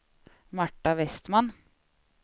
Marta Westman